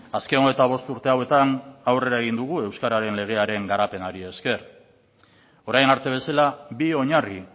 azken hogeita bost urte hauetan aurrera egin dugu euskararen legearen garapenari esker orain arte bezala bi oinarri